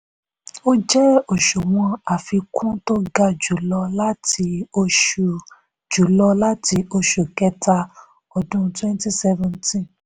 ó jẹ́ òṣùwọ̀n àfikún tó ga jùlọ láti oṣù jùlọ láti oṣù kẹta ọdún twenty seventeen